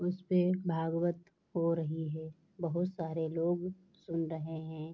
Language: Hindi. उसपे भागवत हो रही है बहुत सारे लोग सुन रहे है।